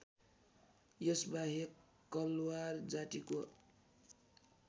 यसबाहेक कलवार जातिको